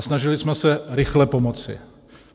A snažili jsme se rychle pomoci.